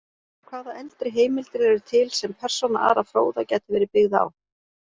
Hvaða eldri heimildir eru til sem persóna Ara fróða gæti verið byggð á?